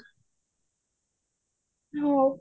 ହଉ